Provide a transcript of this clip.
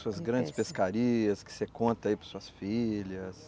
Suas grandes pescarias que você conta aí para as suas filhas.